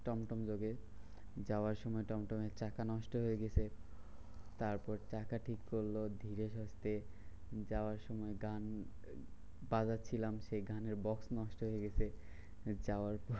টংটং লাগে যাওয়ার সময় টংটংয়ের চাকা নষ্ট হয়ে গেছে। তারপর চাকা ঠিক করলো ধীরে সুস্থে। যাওয়ার সময় গান বাজাচ্ছিলাম সেই গানের বক্স নষ্ট হয়ে গিছে। যাওয়ার পর